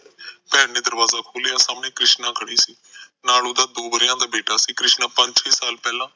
ਭੈਣ ਨੇ ਦਰਵਾਜਾ ਖੋਲਿਆ ਸਾਮਣੇ ਕ੍ਰਿਸ਼ਨਾ ਖੜੀ ਸੀ ਨਾਲ ਓਹਨਾ ਦੋ ਵਰ੍ਹਿਆਂ ਦਾ ਬੀਟਾ ਸੀ ਕ੍ਰਿਸ਼ਨਾ ਪੰਜ ਸ਼ੇ ਸਾਲ ਪਹਿਲਾ